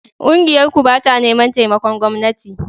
Ƙungiyarku ba ta neman taimakon gwamnati